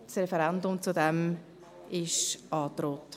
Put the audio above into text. Das Referendum ist angedroht.